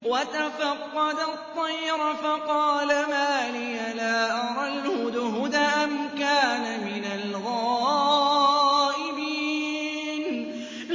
وَتَفَقَّدَ الطَّيْرَ فَقَالَ مَا لِيَ لَا أَرَى الْهُدْهُدَ أَمْ كَانَ مِنَ الْغَائِبِينَ